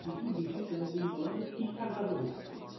কিছু decession তুমি বল না যে ঠিকঠাক ভাবে হচ্ছে